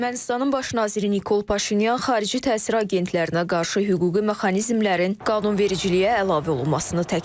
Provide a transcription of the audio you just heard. Ermənistanın baş naziri Nikol Paşinyan xarici təsir agentlərinə qarşı hüquqi mexanizmlərin qanunvericiliyə əlavə olunmasını təklif edib.